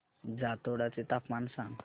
जातोडा चे तापमान सांग